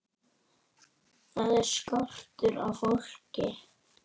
Þar er skortur á fólki.